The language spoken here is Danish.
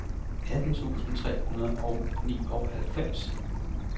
atten tusind tre hundrede og nioghalvfems